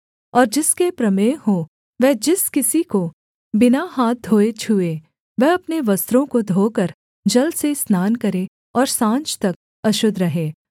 और जिसके प्रमेह हो वह जिस किसी को बिना हाथ धोए छूए वह अपने वस्त्रों को धोकर जल से स्नान करे और साँझ तक अशुद्ध रहे